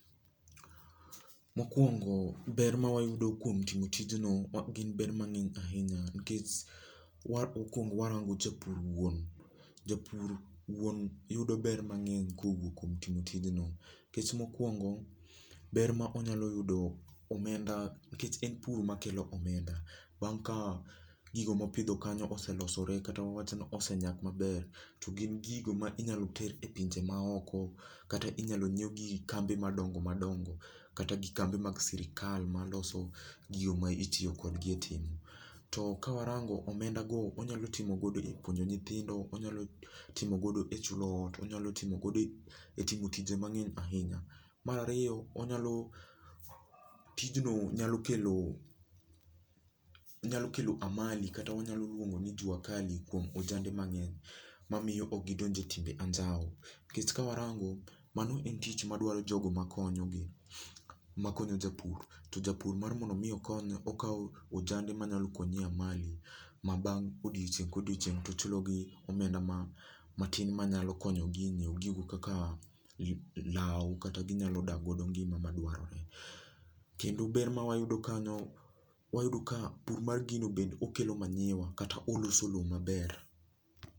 Mokwongo, ber ma wayudo kuom timo tijno gin ber mangény ahinya, nikech okwongo warango japur wuon. Japur wuon yudo ber mangény kowuok kuom timo tijni. Nikech mokwongo, ber ma onyalo yudo omenda, nikech en pur makelo omenda. Bang' ka gigo ma opidho kanyo oselosore kata wawachni osenyak maber, to gin gigo ma inyalo ter e pinje ma oko, kata inyalo nyiew gi kambe madongo madongo, kata gi kambe mag sirkal maloso gigo ma itiyo kodgi e timo. To ka warango omendago, wanyalo timogodo e puonjo nyithindo, onyalo timogodo e chulo ot, onyalo timogodo e e timo tije mangény ahinya. Mar ariyo, onyalo, tijno nyalo kelo, onyalo kelo amali, kata wanyalo luongo ni juakali kuom ojande mangény. Mamiyo ok gidonje e timbe anjawo. Nikech ka warango, mano en tich ma dwaro jogo makonyogi, makonyo japur, to japur mar mondo omi okony, okawo ojande manyalo konye e amali, ma bang' odiochieng' ka odiochieng' to ochulo gi omenda ma, matin manyalo konyogi e nyiewo gigo kaka law, kata ginyalo dakgo ngima madwarore. Kendo ber ma wayudo kanyo, wayudo ka pur mar gino be okelo manyiwa, kata oloso lowo maber.